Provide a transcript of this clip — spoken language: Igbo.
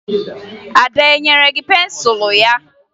Ada e nyere gị pensụlụ ya?